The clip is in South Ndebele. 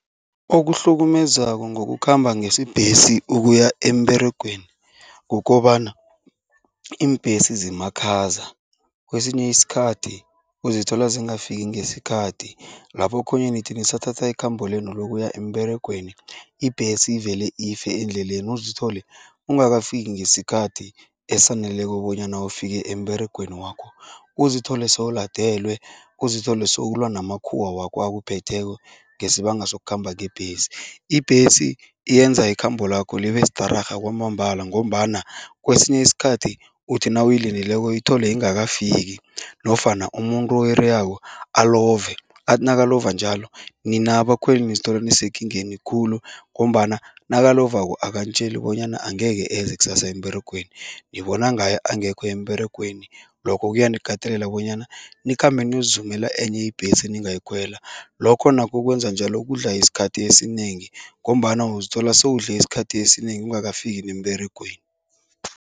Okuhlukumezako ngokukhamba ngesibhesi ukuya emberegweni kukobana iimbhesi zimakhaza. Kwesinye isikhathi uzithola zingafiki ngesikhathi. Lapho okhunye nithi nisathatha ikhambo lenu lokuya emberegweni, ibhesi ivele ife endleleni uzithole ungakafiki ngesikhathi esaneleko bonyana ufike emberegweni wakho, uzithole sewuladelwe, uzithole sewulwa namakhuwa wakho akuphetheko ngesibanga sokukhamba ngebhesi. Ibhesi yenza ikhambo lakho libe stararha kwamambala ngombana kwesinye isikhathi uthi nawuyilindileko uyithole ingakafiki nofana umuntu oyireyako alove. Athi nakalova njalo, nina abakhweli nizithola nisekingeni khulu ngombana nakalovako akanitjeli bonyana angeke eze kusasa emberegweni, ngibona ngaye angekho emberegweni. Lokho kuyanikatelela bonyana nikhambe niyozizumela enye ibhesi eningayikhwela, lokho nakho kwenza njalo kudla isikhathi esinengi ngombana uzithola sewudle isikhathi esinengi ungakafiki nemberegweni.